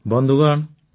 ବନ୍ଧୁଗଣ